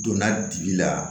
Donna dili la